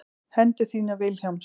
Hendur þínar Vilhjálms.